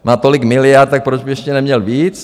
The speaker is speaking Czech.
Má tolik miliard, tak proč by ještě neměl víc?